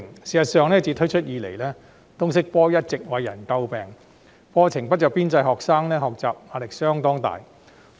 事實上，通識科自推出後一直為人詬病，原因是課程不着邊際，學生的學習壓力相當大。